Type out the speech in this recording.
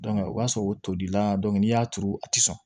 o b'a sɔrɔ o toli la n'i y'a turu a tɛ sɔn